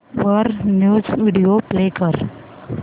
वर news video play कर